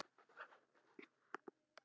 Hafa áhuga á því.